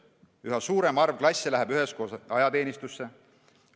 Üha suurem arv klasse läheb üheskoos ajateenistusse.